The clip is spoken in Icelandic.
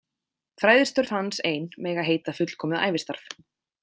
Fræðistörf hans ein mega heita fullkomið ævistarf.